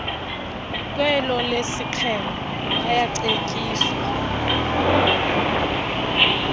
kwelo lesiqhelo bayacetyiswa